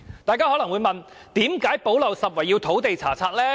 大家可能會問，為何"補漏拾遺"方案要包括土地查冊？